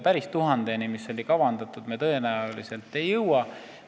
Päris 1000-ni, mis oli kavandatud, me tõenäoliselt ei jõua.